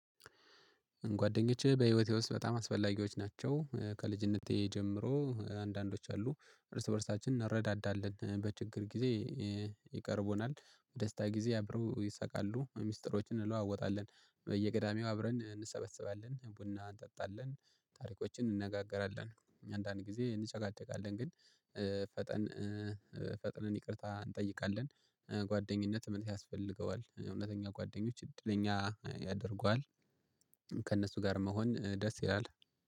ጓደኞቼ በህይወቴ ውስጥ በጣም አስፈላጊዎች ናቸው። ከልጅነቴ ጀምሮ አንዳንዶች አሉ እርስ በእርሳችን እንረዳዳለን በችግር ጊዜ ይቀርቡናል። ደስታ ጊዜ አብረው ይሰቃሉ ሚስጥሮችን እንለዋወጣለን በየገዳሚው አብረን እንሰበስባለን ቡና እንጠጣለን። ታሪኮችን እንነጋገራለን አንዳንድ ጊዜ እንጨቃጨቃለን ግን ፈጠን ፈጥነን ይቅርታ እንጠይቃለን። ጓደኝነት ምን ያስፈልገዋል እውነተኛ ጓደኞች እድለኛ ያደርጓል። ከእነሱ ጋር መሆን ደስ ይላል